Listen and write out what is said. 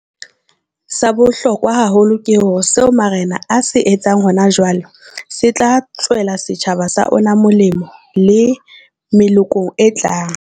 Sa bohlokwa haholo ke hore seo marena a se etsang hona jwale se tla tswela setjhaba sa ona molemo le melokong e tlang.